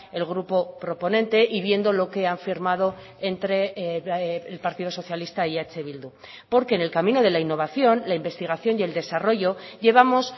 el grupo proponente y viendo lo que han firmado entre el partido socialista y eh bildu porque en el camino de la innovación la investigación y el desarrollo llevamos